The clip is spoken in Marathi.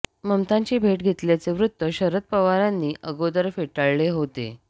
ममतांची भेट घेतल्याचे वृत्त शरद पवारांनी अगोदर फेटाळले होते